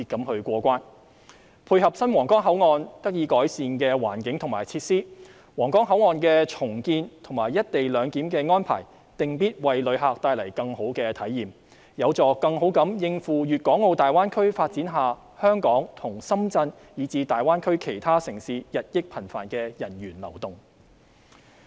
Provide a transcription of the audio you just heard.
為配合皇崗口岸得以改善的環境及設施，重建皇崗口岸及"一地兩檢"安排定必為旅客帶來更好的體驗，有助更好應付粵港澳大灣區發展下香港及深圳以至大灣區其他城市日益頻繁的人員流動。